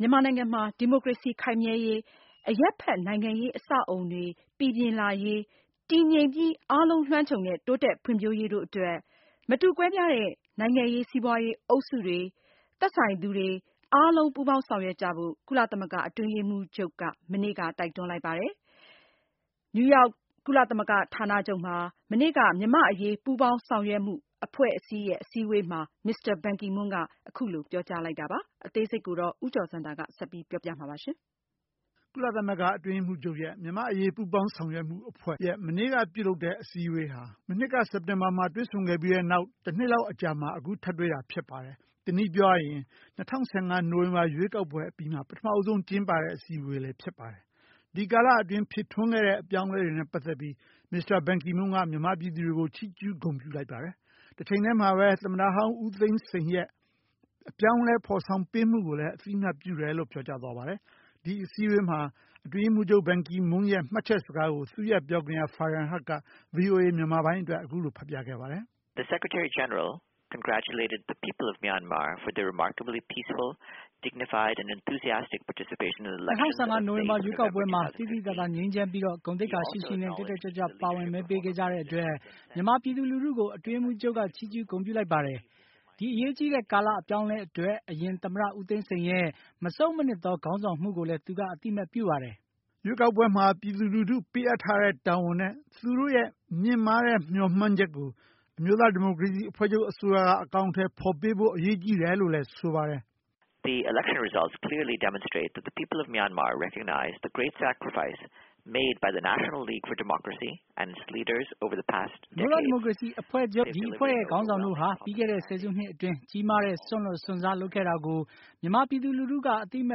မြန်မာနိုင်ငံမှာ ဒီမိုကရေစီခိုင်မြဲရေး၊ အရပ်ဖက်နိုင်ငံရေးအဆောက်အအုံတွေ ပီပြင်လာရေး၊ တည်ငြိမ်ပြီးအားလုံးလွှမ်းခြုံတဲ့ တိုးတက်ဖွံ့ဖြိုးရေးတို့အတွက် မတူကွဲပြားတဲ့ နိုင်ငံရေး စီးပွါးရေး အုပ်စုတွေ သက်ဆိုင်သူတွေအားလုံး ပူးပေါင်းဆောင်ရွက်ကြဖို့ ကုလသမဂ္ဂ အတွင်းရေးမှူးချုပ်က တိုက်တွန်း လိုက်ပါတယ်။ မြန်မာ့အရေးပူးပေါင်းဆောင်ရွက်မှုအဖွဲ့ အစည်းအဝေးမှာ Mr Ban Ki Moon ကအခုလိုပြောကြားလိုက်တာပါ။ အသေးစိတ် ဦးကျော်ဇံသာက တင်ပြပေးထားပါတယ်။. ကုလသမဂ္ဂအတွင်းရေးမှူးချုပ် ရဲ့ မြန်မာ့အရေးပူးပေါင်းဆောင်ရွက်မှုအဖွဲ့ ရဲ့ မနေ့ကပြုလုပ်တဲ့ အစည်းအဝေးဟာ မနှစ်က စက်တင်ဘာမှာတွေ့ဆုံခဲ့ပြီးတဲ့နောက် တနှစ်လောက်အကြာမှာ အခု ထပ်တွေ့မှာဖြစ်ပါတယ်။ တနည်းပြောရရင် ၂၀၁၅ နိုဝင်ဘာရွေးကောက်ပွဲအပြီးမှာ ပထမဦးဆုံးအကြိမ် ကျင်းပတဲ့ အစည်းအဝေးလည်းဖြစ်ပါတယ်။ ဒီကာလအတွင်း ဖြစ်ထွန်းခဲ့တဲ့ အပြောင်းအလဲတွေနဲ့ ပါတ်သက်ပြီး မစ္စတာ ဘန်ကီမွန်းက မြန်မာပြည်သူတွေကို ချီးကျူးဂုဏ်ပြုလိုက်ပါတယ်။ တချိန်ထည်းမှာပဲ သမ္မတဟောင်း ဦးသိန်းစိန် ရဲ့ အပြောင်းအလဲဖော်ဆောင်ပေးမှု ကိုလည်း အသိအမှတ်ပြုတယ်လို့ပြောကြားသွားပါတယ်။ ဒီအစည်းအဝေးမှာ အတွင်းရေးမှူးချုပ် ဘန်ကီမွန်းရဲ့ မှတ်ချက်စကားကို သူ့ရဲ့ ပြောခွင့်ရ ဖာရင်ဟတ် - က ဗွီအိုအေမြန်မာပိုင်းအတွက် အခုလိုဖတ်ပြခဲ့ပါတယ်။ "၂၀၁၅ နိုဝင်ဘာရွေးကောက်ပွဲမှာ သိသိသာသာ ငြိမ်းချမ်းပြီးတော့ ဂုဏ်သိက္ခါရှိရှိ နဲ့ တက်တက်ကြွကြွ ပါဝင်မဲပေးခဲ့ကြတဲ့ အတွက် မြန်မာပြည်သူလူထုကို အတွင်းရေးမှူးချုပ်က ချီးကျူးဂုဏ်ပြုလိုက်ပါတယ်။ ဒီအရေးကြီးတဲ့ကာလ အပြောင်းအလဲ အတွက် အရင် သမ္မတ ဦးသိန်းစိန် ရဲ့ မဆုတ်မနှစ်သော ခေါင်းဆောင်မှုကိုလည်း သူက အသိအမှတ်ပြုပါတယ်" ရွေးကောက်ပွဲမှာ ပြည်သူလူထုပေးအပ်ထားတဲ့ တာဝန် နဲ့ သူ့ရဲ့မြင့်မား တဲ့ မျှော်မှန်းချက်ကို အမျိုးသားဒီမိုကရေစီ အစိုးရက အကောင်အထည်ဖော်ပေးဖို့ အရေးကြီးတယ်လို့လည်း ဆိုပါတယ်။ "အမျိုးသားဒီမိုကရေစီအဖွဲ့ချုပ် ဒီအဖွဲ့ရဲ့ခေါင်းဆောင်တို့ဟာ ပြီးခဲ့တဲ့ ဆယ်စုနှစ်အတွင်း ကြီးမားတဲ့စွန့်လွှတ်စွန့်စားလုပ်ခဲ့တာကို မြန်မာပြည်သူလူထုက အသိအမှ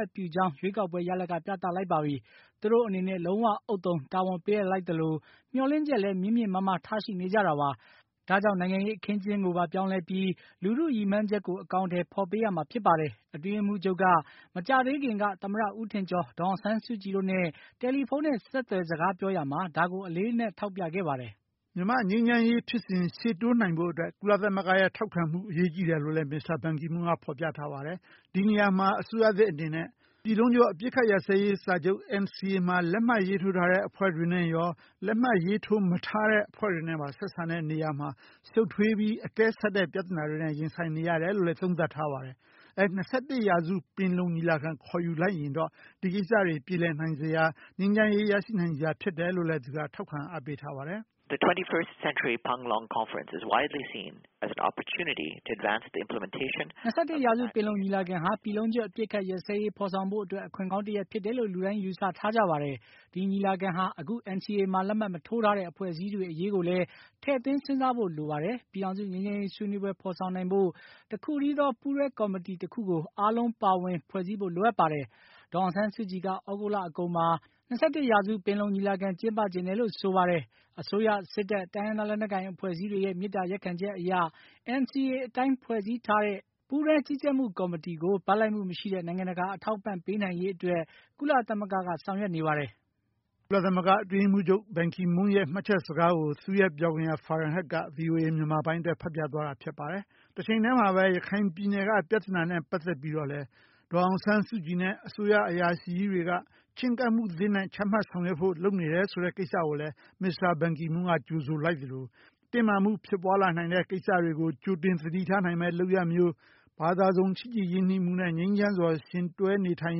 တ်ပြုကြောင်း ရွေးကောက်ပွဲရလဒ် က ပြသလိုက်ပါပြီ။ သူတို့အနေတဲ့ လုံးဝဥသုံ တာဝန်ပေးအပ်လိုက် သလို မျှော်လင့်ချက် လည်း မြင့်မြင့်မားမား ထားရှိနေကြတာပါ။ ဒါ့ကြောင့် နိုင်ငံရေးအခင်းအကျင်းကိုပါပြောင်းလဲပြီး လူထုရည်မှန်းချက်ကို အကောင်အထည်ဖော်ပေးရမှာဖြစ်ပါတယ်။ အတွင်းရေးမှူးချုပ်က မကြာသေးခင်က သမ္မတ ဦးထင်ကျော် ဒေါ်အောင်ဆန်း စုကြည် တို့နဲ့ တယ်လီဖုန်း နဲ့ ဆက်သွယ် စကားပြောရာမှာ ဒါကို အလေးအနက်ထောက်ပြခဲ့ပါတယ်။" မြန်မာ့ငြိမ်းချမ်းရေးဖြစ်စဉ် ရှေ့တိုးနိုင်ဖို့အတွက် ကုလသမဂ္ဂ ရဲ့ ထောက်ခံမှု အရေးကြီးတယ်လို့လည်း မစ္စတာ ဘန်ကီမွန်းက ဖော်ပြထားပါတယ်။ ဒီနေရာမှာ အစိုးရသစ်အနေနဲ့ ပြည်လုံးကျွတ်အပစ်အခတ်ရပ်စဲရေးစာချုပ် NCA မှာ လက်မှတ်ရေးထိုးထားတဲ့ အဖွဲ့တွေနဲ့ရော လက်မှတ်ရေးထိုးမထားတဲ့ အဖွဲ့တွေနဲ့ပါ ဆက်ဆံတဲ့နေရာမှာ ရှုတ်ထွေးပြီး အကဲဆတ်တဲ့ ပြသနာတွေနဲ့ ရင်ဆိုင်နေရတယ်လို့ သုံးသပ်ထားပါတယ်။ ၂၁ ရာစု ပင်လုံညီလာခံ ခေါ်ယူလိုက်ရင်တော့ ဒီကိစ္စတွေပြေလည်နိုင် စရာ ငြိမ်းချမ်းရေး ရရှိနိုင်စရာဖြစ်တယ်လို့လည်း သူက ထောက်ခံ အားပေးထားပါတယ်။ "၂၁ ရာစု ပင်လုံညီလာခံဟာ ပြည်လုံးကျွတ် အပစ်အခတ် ရပ်စဲရေး ဖော်ဆောင်ဖို့ အတွက် အခွင့်ကောင်းတရပ်ဖြစ်တယ်လို့ လူတိုင်း ယူဆထားကြပါတယ်။ ဒီညီလာခံဟာ အခု NCA မှာ လက်မှတ်ရေးမထိုး ထားတဲ့ အဖွဲ့အစည်းတွေ အရေးကိုလည်း ထည့်သွင်းစဉ်းစားဖို့ လိုပါတယ်။ ပြည်ထောင်စုငြိမ်း ချမ်းရေး ဆွေးနွေးပွဲဖော်ဆောင်နိုင်ဖို့ တခုထည်းသော ပူးတွဲကော်မတီ တခုကို အားလုံးပါဝင် ဖွဲ့စည်းဖို့ လိုအပ်ပါတယ်။ ဒေါ်အောင်ဆန်းစုကြည်က ဩဂုတ်လ အကုန်မှာ ၂၁ ရာစု ပင်လုံညီလာခံ ကျင်းပချင်တယ် လို့ ဆိုပါတယ်။ အစိုးရ စစ်တပ် တိုင်းရင်းသားလက်နက်ကိုင်အဖွဲ့အစည်းတွေ မေတ္တာရပ်ခံချက်အရ NCA အတိုင်းဖွဲ့စည်းထားတဲ့ ပူးတွဲကြီးကြပ်မှုကော်မတီကို ဘက်လိုက်မှု မရှိတဲ့ နိုင်ငံတကာ အထောက်အပံ့ပေးနိုင်ရေးအတွက် ကုလသမဂ္ဂ က ဆောင်ရွက်နေပါတယ်။" ကုလသမဂ္ဂ အတွင်းရေးမှူးချုပ် ရဲ့ ဘန်ကီမွန်းရဲ့ မှတ်ချက်စကားကို သူ့ရဲ့ ပြောခွင့်ရ ဖာရင်ဟတ် က ဗွီအိုအေမြန်မာပိုင်းအတွက် ဖတ်ပြသွားတာဖြစ်ပါတယ်။ တချိန်ထည်းမှာပဲ ရခိုင်ပြည်နယ်က ပြသနာနဲ့ ပါတ်သက်ပြီးတော့ လည်း ဒေါ်အောင်ဆန်းစုကြည် နဲ့ အစိုးရ အရာရှိကြီးတွေက ချဉ်းကပ်မှုသစ်နဲ့ ချမှတ်ဆောင်ရွက်ဖို့ လုပ်နေတယ်ဆိုတဲ့ ကိစ္စကိုလည်း မစ္စတာ ဘန်ကီမွန်းက ကြိုဆိုလိုက်သလို တင်းမာမှုဖြစ်ပွါးလာနိုင်မယ့် ကိစ္စတွေကို ကြိုတင် သတိထားနိုင်မယ့်လုပ်ရပ်မျိုး ဘာသာစုံ ချစ်ကြည်ရင်းနှီးမှု နဲ့ ငြိမ်းချမ်းစွာ ယှဉ်တွဲနေထိုင်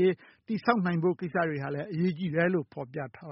ရေး တည်ဆောက်နိုင်ဖို့ ကိစ္စတွေဟာလည်း အရေးကြီးတယ်လို့ ဖော်ပြထားပါ